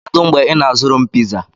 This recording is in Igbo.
Kedu mgbe ị na-azụrụ m piza?